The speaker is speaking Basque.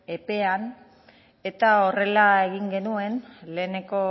epean eta horrela egin genuen lehenengo